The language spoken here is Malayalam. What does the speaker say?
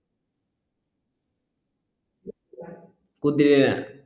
കുതിരയെയാണ്